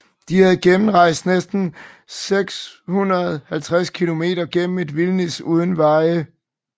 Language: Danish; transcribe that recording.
De havde gennemrejst næsten 650 km gennem et vildnis uden veje